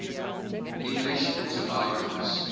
english autobiographers